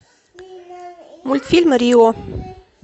мультфильм рио